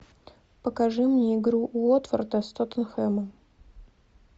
покажи мне игру уотфорда с тоттенхэмом